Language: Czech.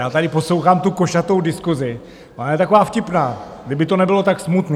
Já tady poslouchám tu košatou diskusi, ona je taková vtipná, kdyby to nebylo tak smutné.